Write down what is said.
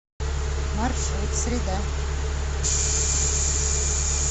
маршрут среда